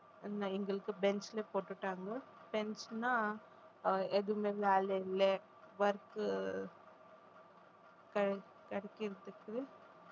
எங்களுக்கு bench ல போட்டுட்டாங்க bench ன்னா ஆஹ் எதுவுமே வேலை இல்லை work உ கிடைக்கறதுக்கு